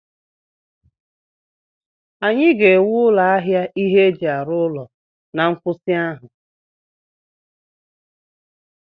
Anyị ga-ewu ụlọ ahịa ihe eji arụ ụlọ na nkwụsị ahụ